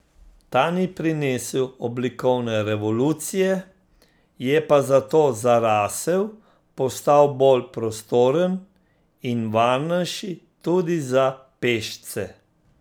Ta ni prinesel oblikovne revolucije, je pa zato zarasel, postal bolj prostoren in varnejši, tudi za pešce.